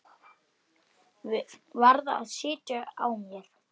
Varð að sitja á mér.